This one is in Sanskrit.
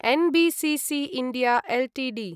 NBCC India Ltd